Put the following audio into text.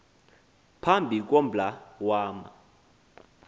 phambi kombla wama